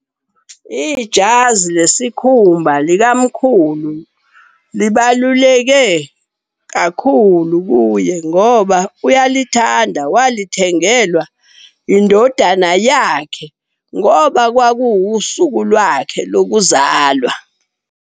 Ijazi lesikhumba likamkhulu libaluleke kakhulu kuye ngoba uyalithanda. Walithengelwa indodana yakhe ngoba kwakuwusuku lwakhe lokuzalwa.